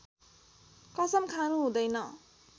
कसम खानु हुँदैन